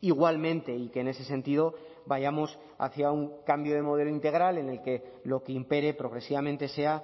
igualmente y que en ese sentido vayamos hacia un cambio de modelo integral en el que lo que impere progresivamente sea